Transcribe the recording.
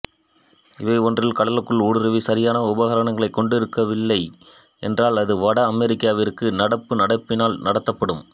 இவை ஒன்றில் கடலுக்குள் ஊடுருவி சரியான உபகரணங்களைக் கொண்டிருக்கவில்லை என்றால் அது வட அமெரிக்காவிற்கு நடப்பு நடப்பினால் நடத்தப்படும்